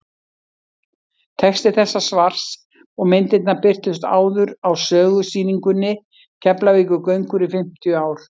texti þessa svars og myndirnar birtust áður á sögusýningunni keflavíkurgöngur í fimmtíu ár